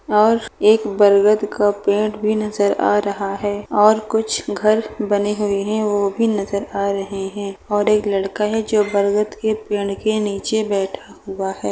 और एक बरगद का पेड़ भी नज़र आ रहा है और कुछ घर बने हुए हैं वो भी नज़र आ रहे हैं और एक लड़का है जो बरगद के पेड़ के निचे बैठा हुआ है।